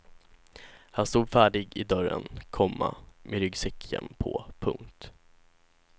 Han stod färdig i dörren, komma med ryggsäcken på. punkt